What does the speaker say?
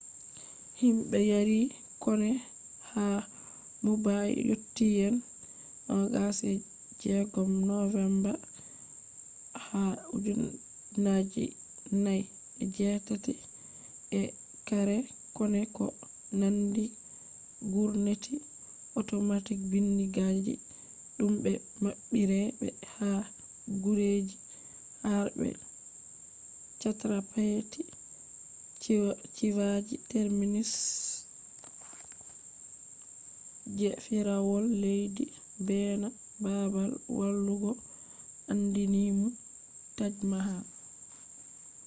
himbe yaarii konne haa mumbai yotti yande 26 novemba 2008 ee karee konne do nanndi gurneti otomatic bindigaaji dum be mabbiree be ha gureji harbe chhatrapati shivaji terminus je fiirawol leddi beena babal walugo aandiininum taj mahal